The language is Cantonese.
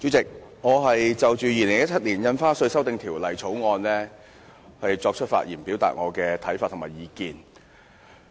主席，我就《2017年印花稅條例草案》發言，表達我的看法和意見。